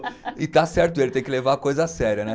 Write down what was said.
E está certo ele, tem que levar a coisa a sério né.